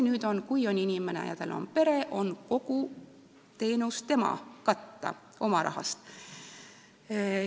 Nüüd on nii, et kui inimesel on pere, siis tuleb kogu teenus katta oma raha eest.